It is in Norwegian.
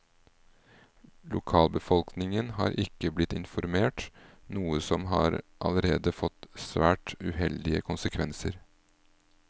Lokalbefolkningen har ikke blitt informert, noe som har allerede fått svært uheldige konsekvenser.